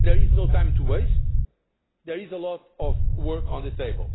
There is no time to waste, and there is a lot of work on the table.